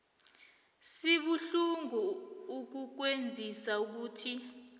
sibuhlungu ukukwazisa ukuthi